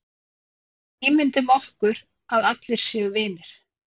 Ímyndum okkur að allir séu vinir.